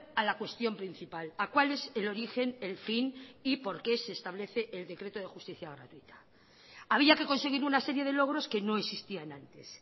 a la cuestión principal a cuál es el origen el fin y por qué se establece el decreto de justicia gratuita había que conseguir una serie de logros que no existían antes